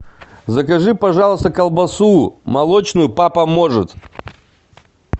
закажи пожалуйста колбасу молочную папа может